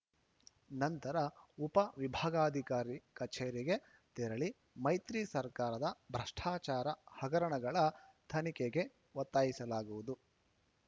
ನಂತರ ಉಪ ವಿಭಾಗಾಧಿಕಾರಿ ಕಚೇರಿಗೆ ತೆರಳಿ ಮೈತ್ರಿ ಸರ್ಕಾರದ ಭ್ರಷ್ಟಾಚಾರ ಹಗರಣಗಳ ತನಿಖೆಗೆ ಒತ್ತಾಯಿಸಲಾಗುವುದು